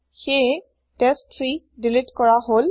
সেয়ে টেষ্ট3 দিলিত কৰা হল